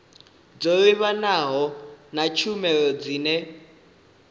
dzo livhanaho na tshumelo dzine